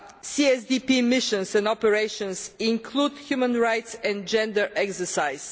CSDP missions and operations include a human rights and gender exercise.